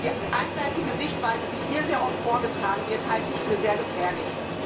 Die einseitige Sichtweise, die hier sehr oft vorgetragen wird, halte ich für sehr gefährlich.